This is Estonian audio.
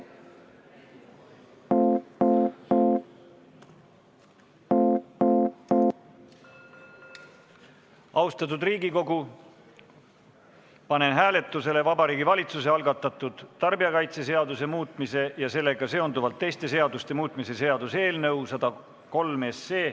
Austatud Riigikogu, panen hääletusele Vabariigi Valitsuse algatatud tarbijakaitseseaduse muutmise ja sellega seonduvalt teiste seaduste muutmise seaduse eelnõu 103.